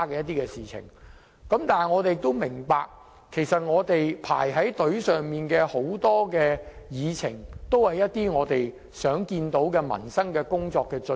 但是，我們都明白，正在輪候審議的議程項目都是我們想要處理的民生工作。